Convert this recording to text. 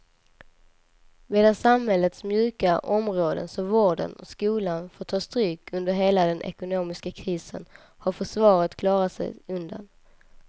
Medan samhällets mjuka områden som vården och skolan fått ta stryk under hela den ekonomiska krisen har försvaret klarat sig undan.